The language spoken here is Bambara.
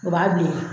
O b'a bilen